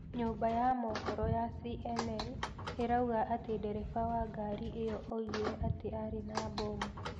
Nyũmba ya moohoro ya CNN ĩrauga atĩ ndereba wa ngari ĩyo oigire atĩ arĩ na bomu.